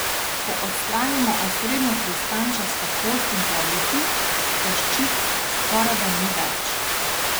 Ko odstranimo osrednjo hrustančasto kost in plavuti, koščic skorajda ni več...